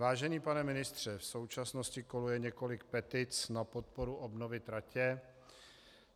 Vážený pane ministře, v současnosti koluje několik petic na podporu obnovy tratě.